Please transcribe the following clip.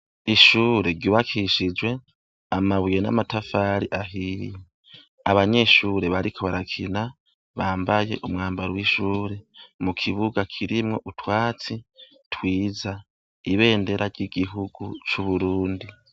Ishure ryubakishijwe amabuye n'amatafari ahiye, abanyeshure bariko barakina bambaye umwambaro w'ishuri mukibuga kirimwo utwatsi twiza, ibendera ry'Igihugu c'Uburundi.